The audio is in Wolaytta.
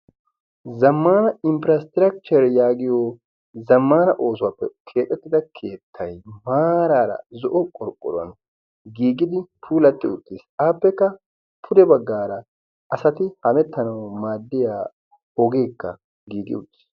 zammana infirasttirakchcher yaagiyo zammana oosuwaappe keexettida keettai maaraara zo'o qorqqoruwan giigidi puulatti uttiis aappekka pude baggaara asati hamettanawu maaddiya hegeekka giigi uttiis